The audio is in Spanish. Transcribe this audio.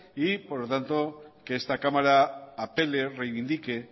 y por lo tanto que esta cámara apele o reivindique